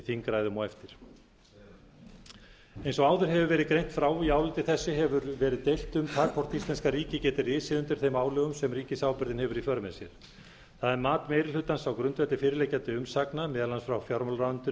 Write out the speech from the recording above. þingræðum á eftir eins og áður hefur verið greint frá í áliti þessu hefur verið deilt um það hvort íslenska ríkið geti risið undir þeim álögum sem ríkisábyrgðin hefur í för með sér það er mat meiri hlutans á grundvelli fyrirliggjandi umsagna meðal annars frá fjármálaráðuneytinu